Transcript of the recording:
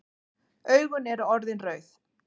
Augun eru orðin rauð.